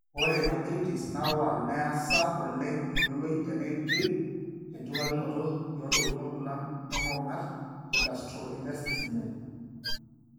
Ore earthritis nawal neasa oleng iyioloi teneidip enchurtakinoto eoontokiting orkulam onkong'at egastrointestinale.